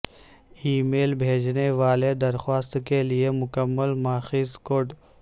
ای میل بھیجنے والے درخواست کے لئے مکمل ماخذ کوڈ